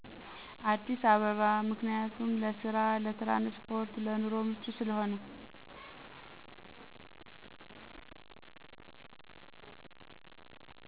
አዲስ አባበባ ምክንያቱም ለስራ ለትራንስፖርት ለኑሮ ምቹ ስለሆነ